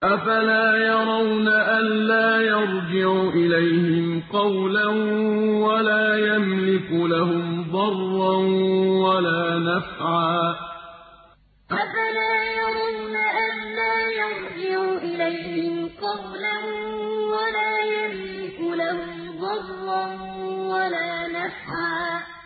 أَفَلَا يَرَوْنَ أَلَّا يَرْجِعُ إِلَيْهِمْ قَوْلًا وَلَا يَمْلِكُ لَهُمْ ضَرًّا وَلَا نَفْعًا أَفَلَا يَرَوْنَ أَلَّا يَرْجِعُ إِلَيْهِمْ قَوْلًا وَلَا يَمْلِكُ لَهُمْ ضَرًّا وَلَا نَفْعًا